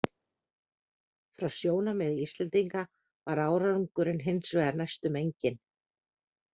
Frá sjónarmiði Íslendinga var árangurinn hins vegar næstum enginn.